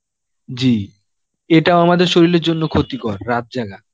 জী এটাও আমাদের শরীলের ক্ষতিকর, রাত জাগা.